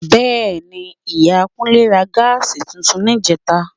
Bẹ́ẹ̀ni, Ìyàwó Kúnlé ra Gas tuntun níjẹta